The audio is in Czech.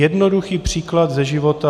Jednoduchý příklad ze života.